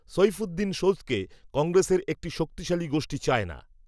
সৈফূদ্দিন সোজকে, কংগ্রেসের, একটি শক্তিশালী গোষ্ঠী, চায় না